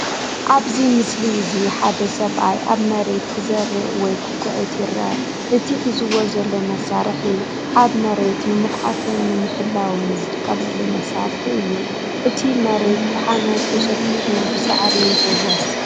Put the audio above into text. ኣብዚ ምስሊ እዚ ሓደ ሰብኣይ ኣብ መሬት ክዘርእ ወይ ክኹዕት ይርአ። እቲ ሒዝዎ ዘሎ መሳርሒ ኣብ ኣብ መሬት ንምኹዓትን ንምሕላውን ዝጥቀመሉ መሳርሒ እዩ። እቲ መሬት ብሓመድ ተሸፊኑ ብሳዕሪ ይሕወስ።